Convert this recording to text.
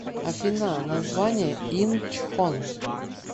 афина название инчхон